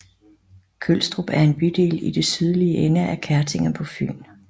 Kølstrup er en bydel i den sydlige ende af Kertinge på Fyn